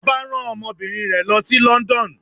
Ọba rán ọmọbinrin rẹ lo si London.